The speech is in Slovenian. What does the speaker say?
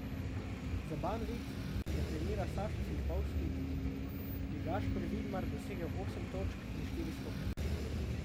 Za Banvit, ki ga trenira Sašo Filipovski, je Gašper Vidmar dosegel osem točk in štiri skoke.